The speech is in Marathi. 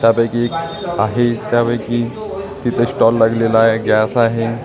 त्यापैकी एक आहे त्यापैकी तिथे स्टॉल लागलेला आहे गॅस आहे.